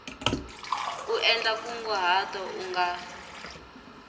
u endla nkunguhato u nga